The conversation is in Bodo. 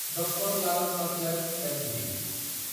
द्र लाल पाथलेब्स एलटिडि